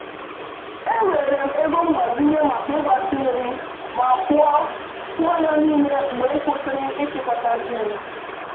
Ewere m ego mgbazinye maka ịgbatị nri ma kwụọ kwụọ ya niile mgbe m kwụsịrị ịchịkọta ji m.